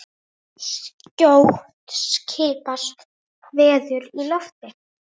Skjótt skipast veður í lofti.